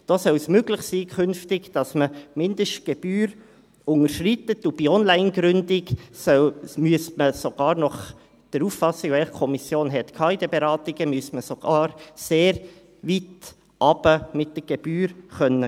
Da soll es künftig möglich sein, dass man die Mindestgebühr unterschreitet, und bei Online-Gründungen müsste man – gemäss Auffassung der Kommission in den Beratungen – mit der Gebühr sogar sehr weit hinuntergehen können.